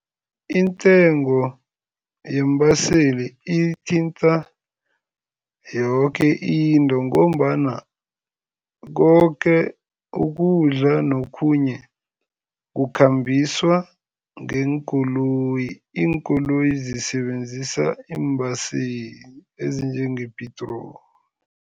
Intengo yeembaseli ithinta yoke into ngombana koke ukudla nokhunye kukhambiswa ngeenkoloyi, iinkoloyi zisebenzisa iimbhaseli ezinjengepitroli.